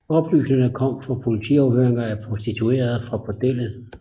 Oplysningerne kom fra politiafhøringer af prostituerede fra bordellet